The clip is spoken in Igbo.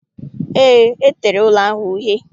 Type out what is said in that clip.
Eé, e tere ụlọ ahụ uhie